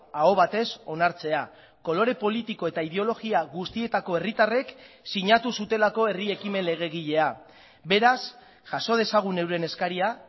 aho batez onartzea kolore politiko eta ideologia guztietako herritarrek sinatu zutelako herri ekimen legegilea beraz jaso dezagun euren eskaria